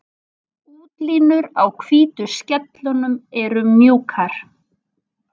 Útlínur á hvítu skellunum eru mjúkar.